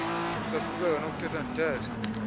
esaqhubeka nokuthetha ndithetha